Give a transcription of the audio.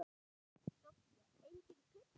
Soffía: Engin pizza.